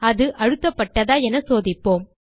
அது அழுத்தப்பட்டதா என சோதிப்போம்